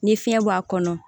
Ni fiɲɛ b'a kɔnɔ